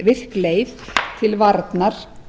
virk leið til varnar